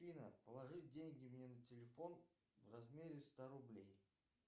афина положи деньги мне на телефон в размере ста рублей